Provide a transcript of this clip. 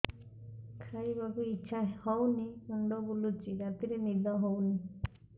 ଖାଇବାକୁ ଇଛା ହଉନି ମୁଣ୍ଡ ବୁଲୁଚି ରାତିରେ ନିଦ ହଉନି